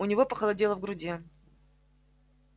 у него похолодело в груди